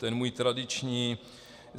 Ten můj tradiční...